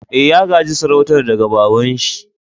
Eh, ya ga'je sarautan daga baba'n shi.